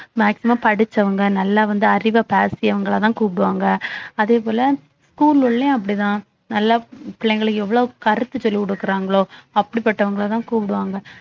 maximum படிச்சவங்க நல்லா வந்து அறிவைப் பேசியவங்களைதான் கூப்பிடுவாங்க அதே போல school உள்ளேயும் அப்படித்தான் நல்லா பிள்ளைங்களுக்கு எவ்வளவு கருத்து சொல்லிக் கொடுக்குறாங்களோ அப்படிப்பட்டவங்களைதான் கூப்பிடுவாங்க